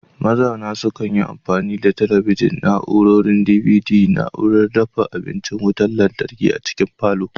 Mazauna sukan yi amfani da talabijin, na'urorin DVD, na'urar dafa abincin wutar lantarki a cikin falon